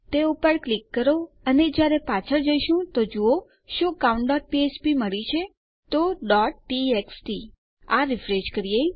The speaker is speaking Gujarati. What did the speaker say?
તે પર ક્લિક કરો અને જ્યારે આપણે પાછળ જઈશું તો જુઓ શું આપણને countફ્ફ્પ મળી છે તો txt તો ચાલો આ રીફ્રેશ કરીએ